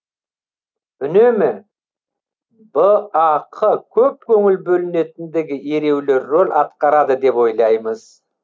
үнемі бақ көп көңіл бөленетіндігі ереулі рөл атқарады деп ойлаймыз